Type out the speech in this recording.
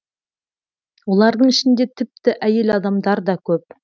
олардың ішінде тіпті әйел адамдарда көп